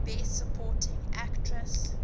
best supporting actress